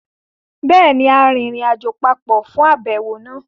Béèni, a rìnrìnàjò papọ̀ fún àbẹ̀wò náà